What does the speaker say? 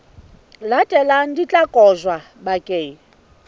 latelang di tla kotjwa bakeng